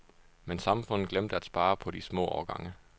Men samfundet glemte at spare på de små årgange.